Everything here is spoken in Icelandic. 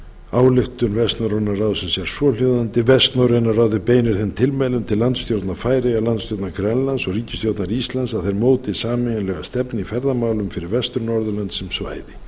ályktun vestnorræna ráðsins er svohljóðandi vestnorræna ráðið beinir þeim tilmælum til landstjórnar færeyja landstjórnar grænlands og ríkisstjórnar íslands að þær móti sameiginlega stefnu í ferðamálum fyrir vestur norðurlönd sem svæði